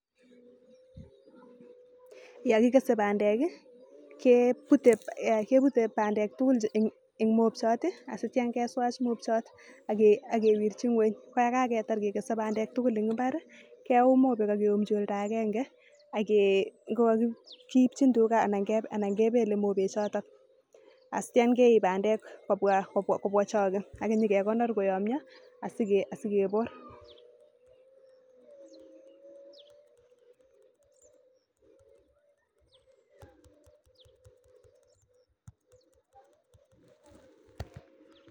Yangigese bandek kebute bandek tugul en mobchat akitya keswach mobchot akewirchi ngeenyakekese bandek tuguk en imbar keyum mobek akeyumchi olda agenge ageibchi tuga anan kebele mobek choton anan keib bandek kobwa chago agegonor koyamyo sikebor